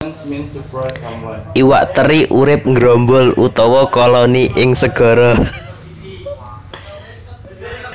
Iwak teri urip nggrombol utawa koloni ing segara